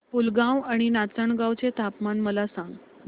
पुलगांव आणि नाचनगांव चे तापमान मला सांग